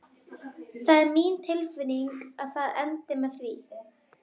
Og það er mín tilfinning að það endi með því.